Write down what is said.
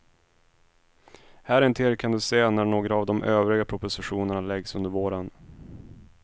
Här intill kan du se när några av de övriga propositionerna läggs under våren.